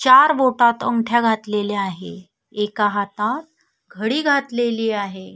चार बोटात अंगठ्या घातलेल्या आहे एका हातात घडी घातलेली आहे.